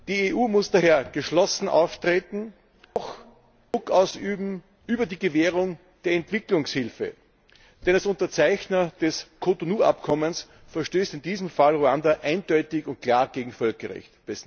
Die EU muss daher geschlossen auftreten, auch Druck ausüben über die Gewährung der Entwicklungshilfe, denn als Unterzeichner des Cotonou Abkommens verstößt in diesem Fall Ruanda eindeutig und klar gegen Völkerrecht.